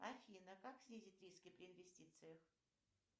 афина как снизить риски при инвестициях